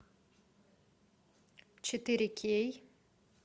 четыре кей